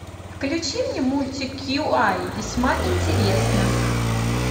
включи мне мультик кьюай весьма интересно